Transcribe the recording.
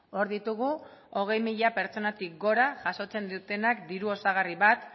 hor ditugu hogei mila pertsonatik gora jasotzen dutenak diru osagarri bat